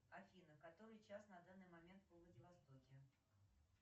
афина который час на данный момент во владивостоке